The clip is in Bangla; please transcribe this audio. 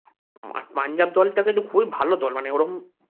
পাঞ্জাব দল টা কিন্তু খুব ভালো দল মানে ওরকম